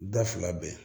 Da fila bɛn